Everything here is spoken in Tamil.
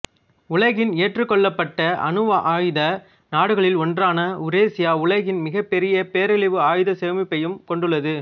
உலகின் ஏற்றுக்கொள்ளப்பட்ட அணுவாயுத நாடுகளில் ஒன்றான உருசியா உலகின் மிகப் பெரிய பேரழிவு ஆயுதச் சேமிப்பையும் கொண்டுள்ளது